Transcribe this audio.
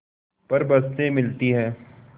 पर बसें मिलती हैं